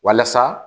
Walasa